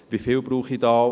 Wie viel brauche ich da?